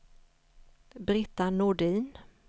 Britta Nordin